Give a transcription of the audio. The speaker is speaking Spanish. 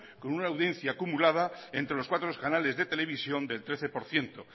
con una audiencia acumulada entre los cuatro canales de televisión del trece por ciento